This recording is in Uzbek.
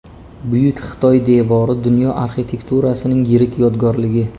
Buyuk Xitoy devori dunyo arxitekturasining yirik yodgorligi.